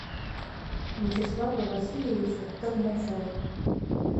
вячеслава васильевича толмачева